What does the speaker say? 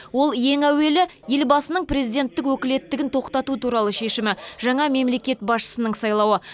ол ең әуелі елбасының президенттік өкілеттігін тоқтату туралы шешімі жаңа мемлекет басшысының сайлауы